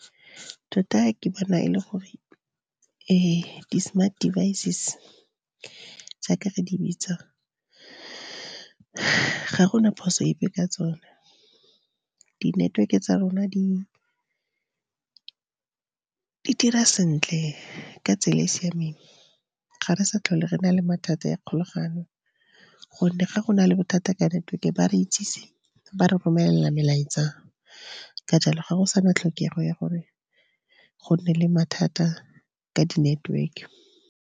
Tota ke bona e le gore fa di-smart devices jaaka re di bitsa, ga gona phoso epe ka tsone. Di-network-e tsa rona di dira sentle ka tsela e e siameng. Ga re sa tlhole re na le mathata ya kgolaganyo go nne ga go na le bothata ka network-e ba re itsise, ba re romelela melaetsa. Ka jalo ga go sa na tlhokego ya gore go nne le mathata ka di-network.